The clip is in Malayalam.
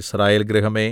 യിസ്രായേൽ ഗൃഹമേ